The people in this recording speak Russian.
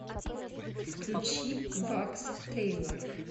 включи вакс тэйлор